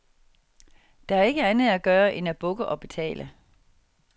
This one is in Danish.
Der er ikke andet at gøre end at bukke og betale.